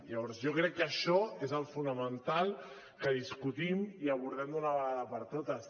llavors jo crec que això és el fonamental que discutim i abordem d’una vegada per totes